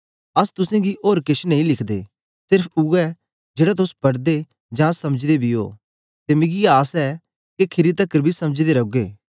अस तुसेंगी ओर केछ नेई लिखदे सेर्फ उवै जेड़ा तोस पढ़दे जां समझदे बी ओ ते मिकी आस ऐ के खीरी तकर बी समझदे रौगे